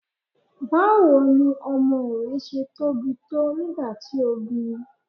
Báwo ni ọmọ rẹ ṣe tóbi tó nígbà tí o bíi?